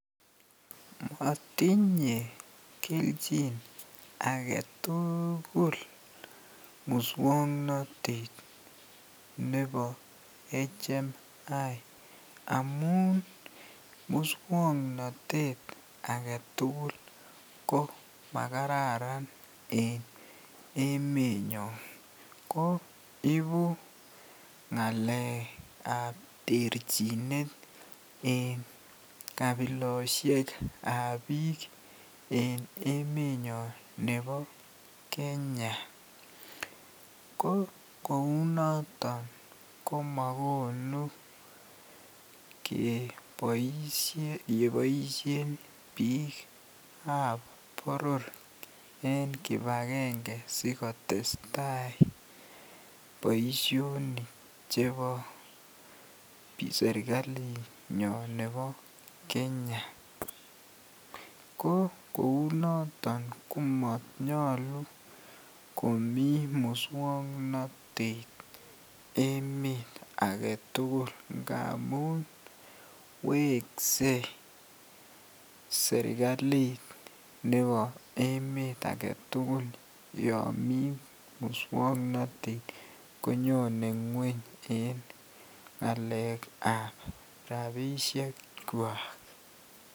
Motinye kelchin agetuugul muswoknotet nebo HMI amun muswoknotet agetugul ko makararan en emenyon koo ibu ng'alekab terchinet en kabilosiekab biik en emenyon nebo kenya.ko kou noton komakonu keboisien biikab boror en kipakenge sikotes tai boisionik chebo serikalinyon nebo kenya ko kou noton komonyulu komii muswoknotet emet agetugul ngamun wekse serikalit nebo emet agetugul yon mii muswoknotet konyone ngweny en ng'alekab rapisiekwak.